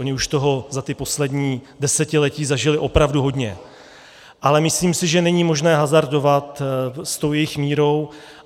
Oni už toho za ta poslední desetiletí zažili opravdu hodně, ale myslím si, že není možné hazardovat s tou jejich mírou.